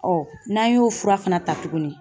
n'an y'o fura fana ta tugunni.